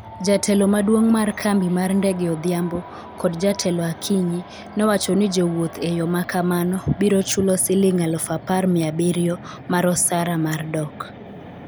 Jatelo maduong' mar kambi mar ndege Odhiambo kod jatelo Akinyi nowacho ni jowuoth e yo ma kamano biro chulo Sh10,700 mar osara mar dok.